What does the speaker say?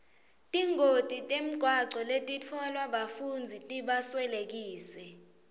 tingoti temgwaco letitfolwa bafundzi tibaswelekise